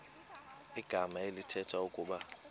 igama elithetha ukuba